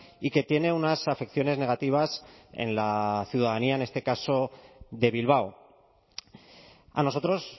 y que tiene unas afecciones negativas en la ciudadanía en este caso de bilbao a nosotros